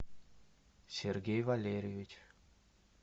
сергей валерьевич